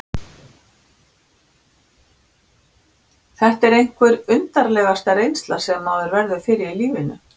Þetta er einhver undursamlegasta reynsla sem maður verður fyrir í lífinu.